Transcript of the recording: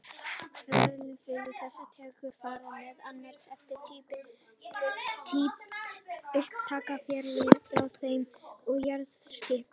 Hlutföllin milli þessara tegunda fara meðal annars eftir dýpt upptaka, fjarlægð frá þeim og jarðlagaskipan.